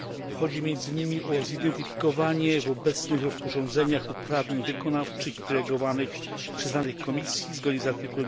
Chodzi między innymi o zidentyfikowanie w obecnych rozporządzeniach uprawnień wykonawczych i delegowanych przyznanych Komisji zgodnie z art.